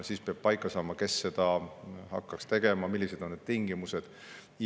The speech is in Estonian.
Siis peab paika saama, kes seda hakkaks tegema, millised on tingimused.